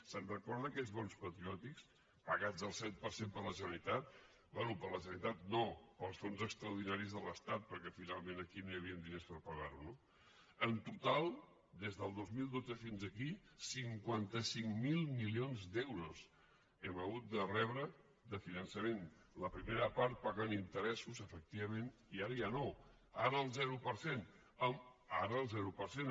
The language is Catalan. se’n recorda d’aquells bons patriòtics pagats al set per cent per la generalitat bé per la generalitat no pels fons extraordinaris de l’estat perquè finalment aquí no hi havia diners per pagar ho no en total des del dos mil dotze fins aquí cinquanta cinc mil milions d’euros hem hagut de rebre de finançament la primera part pagant interessos efectivament i ara ja no ara al zero per cent ara al zero per cent